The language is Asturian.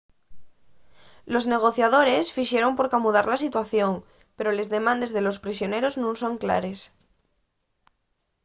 los negociadores fixeron por camudar la situación pero les demandes de los prisioneros nun son clares